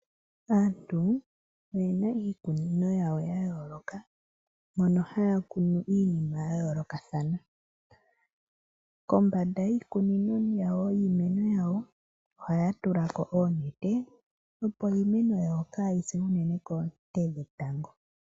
Aantu oyena iikunino yawo ya yooloka mono haya kunu iinima ya yoolokathana kombanda yiikunino yawo yiimeno yawo ohaya tula ko oonete opo iimeno yawo kayi se unene koonte dhetango.